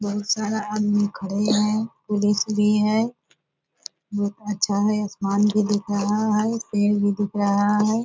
बहुत सारा आदमी खड़े हैं पुलिस भी है बहुत अच्छा है आसमान भी दिख रहा है पेड़ भी दिख रहा है।